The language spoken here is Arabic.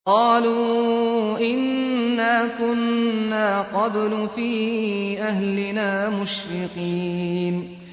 قَالُوا إِنَّا كُنَّا قَبْلُ فِي أَهْلِنَا مُشْفِقِينَ